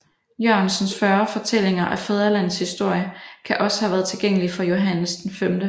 Jørgensens 40 Fortællinger af Fædrelandets Historie kan også have været tilgængelig for Johannes V